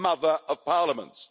The mother of parliaments.